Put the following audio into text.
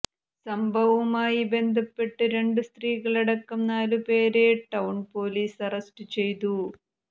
സംഭവവുമായി ബന്ധപ്പെട്ട് രണ്ടു സ്ത്രീകളടക്കം നാലുപേരെ ടൌണ് പോലീസ് അറ്സ്റ്റ് ചെയ്തു